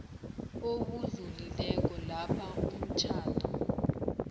obudlulileko lapha umtjhado